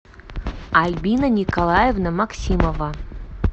альбина николаевна максимова